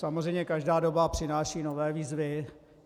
Samozřejmě každá doba přináší nové výzvy.